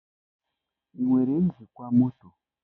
Ị nwere njikwa mọtọ?